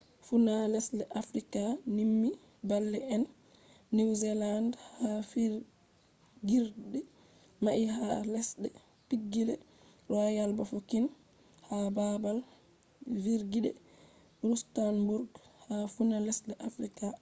funa lesde africa nymi bale`ennew zealand ha figirde mai ha lesde pigileroyal bafokeng ha babal vigirderustenburgha funa lesde africa